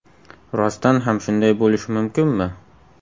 Rostdan ham shunday bo‘lishi mumkinmi?.